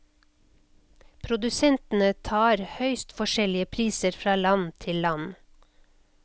Produsentene tar høyst forskjellige priser fra land til land.